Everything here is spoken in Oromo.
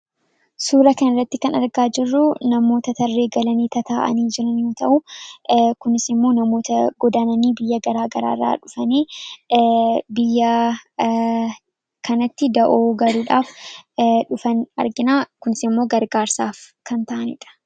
suura kan irratti kan argaa jirruu namoota tarree galanii tataa'anii jiranu ta'uu kunisimmoo namoota godaananii biyya garaa garaarraa dhufanii biyya kanatti da'oo gariidhaaf dhufan arginaa kunisimmoo gargaarsaaf kan ta'aniidha